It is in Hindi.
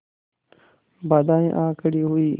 बाधाऍं आ खड़ी हुई